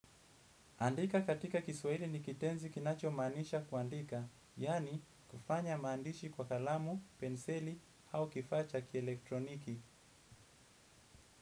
Andika katika kiswahili ni kitenzi kinacho maanisha kuandika, yani kufanya maandishi kwa kalamu, penseli, au kifaa cha kielektroniki.